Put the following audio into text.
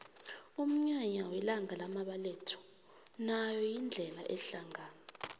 umnyanya welanga lamabetho nayo ingena hlangana